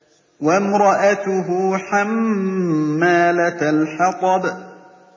وَامْرَأَتُهُ حَمَّالَةَ الْحَطَبِ